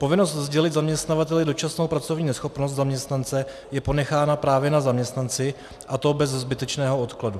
Povinnost sdělit zaměstnavateli dočasnou pracovní neschopnost zaměstnance je ponechána právě na zaměstnanci, a to bez zbytečného odkladu.